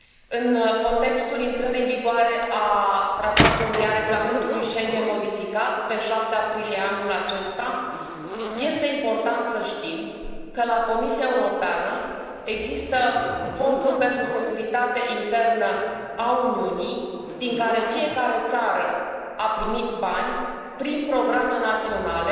În contextul intrării în vigoare a regulamentului Schengen modificat pe 7 aprilie anul acesta este important să știm că la Comisia Europeană există fonduri pentru securitatea internă a Uniunii din care fiecare țară a primit bani prin programe naționale,